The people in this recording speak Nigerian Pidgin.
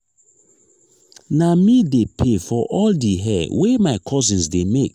na me dey pay for all di hair wey my cousins dey make.